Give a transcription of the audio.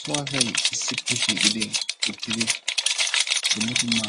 So asay issippe shiiqidi uttidi dumma dumma